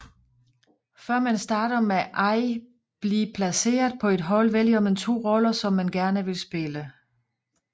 Før man starter med ay blive placeret på et hold vælger man 2 roller som man gerne vil spille